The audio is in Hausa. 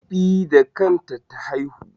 E, da kanta ta haihu.